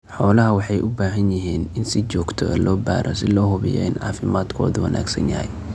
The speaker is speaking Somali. Xoolaha waxay u baahan yihiin in si joogto ah loo baaro si loo hubiyo in caafimaadkoodu wanaagsan yahay.